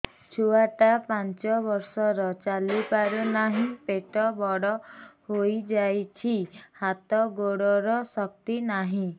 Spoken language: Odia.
ଛୁଆଟା ପାଞ୍ଚ ବର୍ଷର ଚାଲି ପାରୁନାହଁ ପେଟ ବଡ ହୋଇ ଯାଉଛି ହାତ ଗୋଡ଼ର ଶକ୍ତି ନାହିଁ